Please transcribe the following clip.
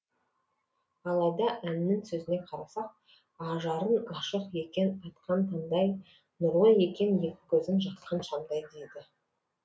алайда әннің сөзіне қарасақ ажарың ашық екен атқан таңдай нұрлы екен екі көзің жаққан шамдай дейді